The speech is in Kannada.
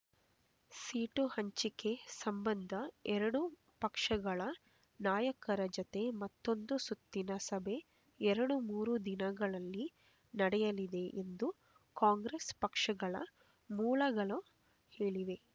ಸೀಟು ಹಂಚಿಕೆ ಸಂಬಂಧ ಎರಡೂ ಪಕ್ಷಗಳ ನಾಯಕರ ಜತೆ ಮತ್ತೊಂದು ಸುತ್ತಿನ ಸಭೆ ಎರಡುಮೂರು ದಿನಗಳಲ್ಲಿ ನಡೆಯಲಿದೆ ಎಂದು ಕಾಂಗ್ರೆಸ್ ಪಕ್ಷಗಳ ಮೂಲಗಳು ಹೇಳಿವೆ